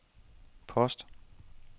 post